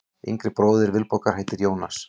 Yngri bróðir Vilborgar heitir Jónas.